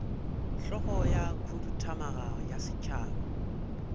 hlogo ya khuduthamaga ya setšhaba